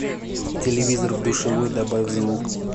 телевизор в душевой добавь звук